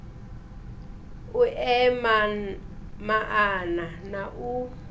u ea maana na u